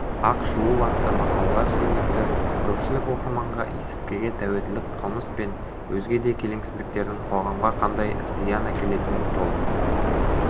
ақ шуылатты мақалалар сериясы көпшілік оқырманға есірткіге тәуелділік қылмыс пен өзге де келеңсіздіктердің қоғамға қандай зиян әкелетінін толық